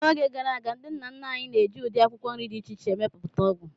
N'oge gara aga, ndị nna nna anyị na-eji ụdị akwụkwọ nri dị iche iche emepụta ọgwụ.